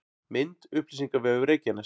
Mynd: Upplýsingavefur Reykjaness